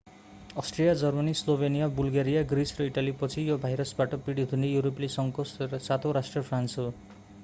Austria Germany Slovenia Bulgaria Greece र इटालीपछि यो भाइरसबाट पीडित हुने युरोपेली संघको सातौँ राष्ट्र फ्रान्स हो